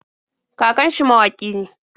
Kakan shi mawaƙi ne.